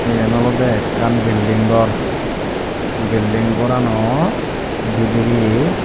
eyen olode ekkan bilding gor bilding goranow bidirey.